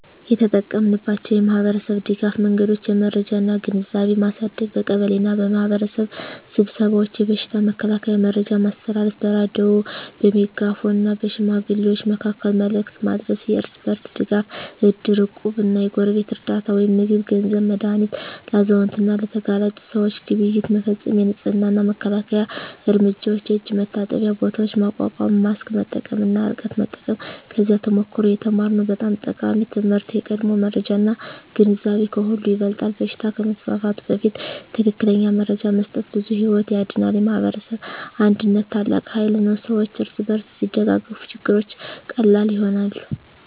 የተጠቀማችንባቸው የማኅበረሰብ ድጋፍ መንገዶች የመረጃ እና ግንዛቤ ማሳደግ በቀበሌ እና በማኅበረሰብ ስብሰባዎች የበሽታ መከላከያ መረጃ ማስተላለፍ በሬዲዮ፣ በሜጋፎን እና በሽማግሌዎች መካከል መልዕክት ማድረስ የእርስ በርስ ድጋፍ እድር፣ እቁብ እና የጎረቤት ርዳታ (ምግብ፣ ገንዘብ፣ መድሃኒት) ለአዛውንት እና ለተጋላጭ ሰዎች ግብይት መፈፀም የንፅህና እና መከላከያ እርምጃዎች የእጅ መታጠቢያ ቦታዎች ማቋቋም ማስክ መጠቀም እና ርቀት መጠበቅ ከዚያ ተሞክሮ የተማርነው በጣም ጠቃሚ ትምህርት የቀድሞ መረጃ እና ግንዛቤ ከሁሉ ይበልጣል በሽታ ከመስፋፋቱ በፊት ትክክለኛ መረጃ መስጠት ብዙ ሕይወት ያድናል። የማኅበረሰብ አንድነት ታላቅ ኃይል ነው ሰዎች እርስ በርስ ሲደጋገፉ ችግሮች ቀላል ይሆናሉ።